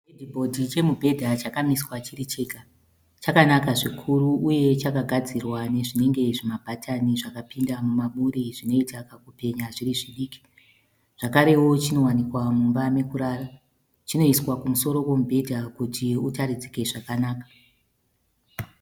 Chihedhibhodhi chemubhedha chakamiswa chiri chega. Chakanaka zvikuru uye chakagadzirwa nezvinenge zvimabhatani zvakapinda mubaburi zvinoita kakupenya zviri zvidiki. Zvakarewo chinowanikwa mumba mekurara. Chinoiswa kumusoro kwemubhedha kuti utaridzike zvakanaka.